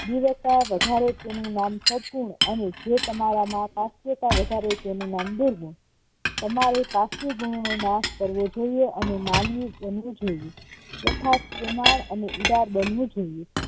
વિવેકતા વધારે તેનું નામ સદગુણ અને જે તમારામાં કાશ્યતા વધારે તેનું નામ દુર્ગુણઃ તમારે કાશ્ય ગુણોનો નાશ કરવો જોઈએ અને માનવી બનવું જોયે તથા પ્રેમાળ અને ઉદાર બનવું જોઇએ